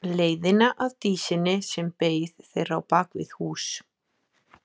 Leiðina að Dísinni sem beið þeirra á bak við hús.